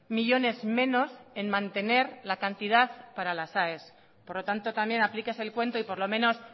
millónes menos en mantener la cantidad para las aes por lo tanto también aplíquese el cuento y por lo menos